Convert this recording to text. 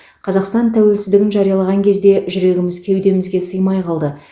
қазақстан тәуелсіздігін жариялаған кезде жүрегіміз кеудемізге сыймай қалды